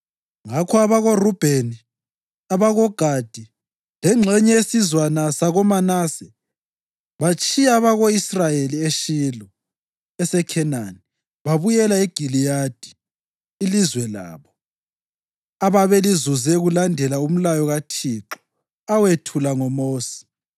Ngakho abakoRubheni, abakoGadi lengxenye yesizwana sakoManase batshiya abako-Israyeli eShilo eseKhenani babuyela eGiliyadi, ilizwe labo, ababelizuze kulandela umlayo kaThixo awethula ngoMosi.